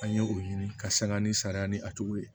An ye o ɲini ka sanga ni sariya ni a tigi ye